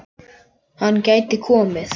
Hann gæti komið